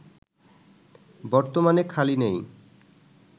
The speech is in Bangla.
বর্তমানে খালি নেই